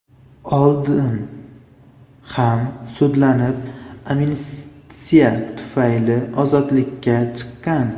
oldin ham sudlanib, amnistiya tufayli ozodlikka chiqqan.